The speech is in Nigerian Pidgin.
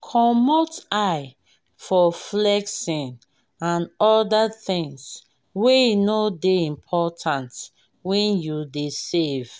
comot eye for flexing and oda things wey no dey important when you dey save